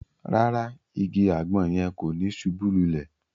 Ràrá, ìgi àgbọn yẹn ko ni subú lulè